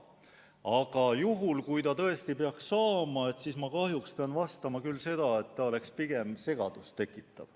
Aga juhul, kui see tõesti peaks saama, siis ma kahjuks pean vastama küll nii, et see oleks pigem segadust tekitav.